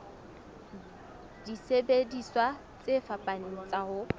disebediswa tse fapaneng tsa ho